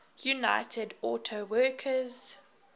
united auto workers